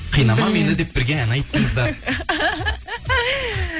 қинама мені деп бірге ән айттыңыздар